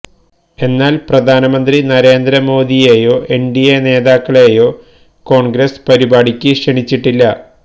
എന്നാല് പ്രധാനമന്ത്രി നരേന്ദ്ര മോഡിയെയോ എന്ഡിഎ നേതാക്കളെയോ കോണ്ഗ്രസ് പരിപാടിക്ക് ക്ഷണിച്ചിട്ടില്ല